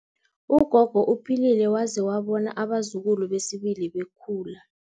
Ugogo uphilile waze wabona abazukulu besibili bekhula.